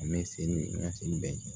An bɛ se ni ka sen bɛɛ kɛ